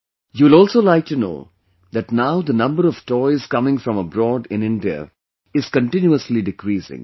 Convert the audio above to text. You will also like to know that now the number of toys coming from abroad in India is continuously decreasing